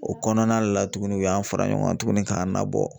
O kɔnɔna de la tugunni u y'an fara ɲɔgɔn kan tugunni k'an nabɔ.